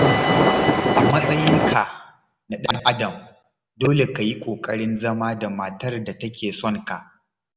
A matsayinka na ɗan'adam dole ka yi kokarin zama da matar da take son ka.